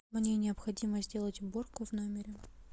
мне необходимо сделать уборку в номере